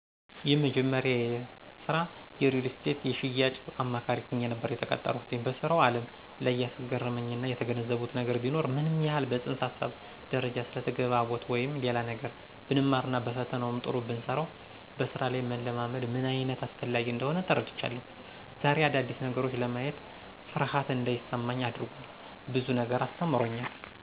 የመጀመሪያዬ ስራ የሪልስቴት የሽያጭ አማካሪ ሆኜ ነበር የተቀጠረኩት። በስራው አለም ላይ ያስገረመኝና የተገነዘብኩት ነገር ቢኖር ምንም ያክል በፅንሰ ሀሳብ ደረጃ ስለተግባቦት ወይም ሌላ ነገር ብንማርና በፈተናውም ጥሩ ብንሰራው በስራ ላይ መለማመድ ምንአይነት አስፈላጊ እንደሆነ ተረድቻለሁ። ዘሬ አዳዲስ ነገሮችን ለማየት ፍርሃት አንዳይሰማኝ አድርጓል፤ ብዙ ነገር አስተምሮኛል።